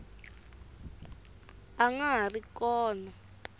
a nga ha ri kona